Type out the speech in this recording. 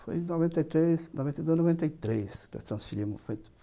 Foi em noventa e três, noventa e dois, noventa e três que nos transferimos